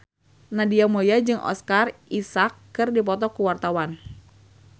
Nadia Mulya jeung Oscar Isaac keur dipoto ku wartawan